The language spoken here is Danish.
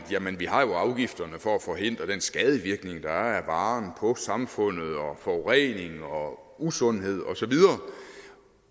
vi jo har afgifterne for at forhindre den skadevirkning af varen på samfundet og forurening og usundhed osv